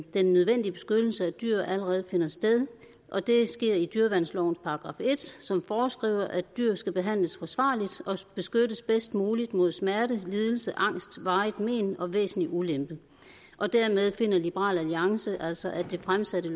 den nødvendige beskyttelse af dyr allerede finder sted og det sker i dyreværnslovens § en som foreskriver at dyr skal behandles forsvarligt og beskyttes bedst muligt mod smerte lidelse angst varigt men og væsentlig ulempe og dermed finder liberal alliance altså at det fremsatte